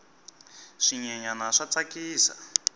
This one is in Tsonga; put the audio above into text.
swinyenyani swa tsakisa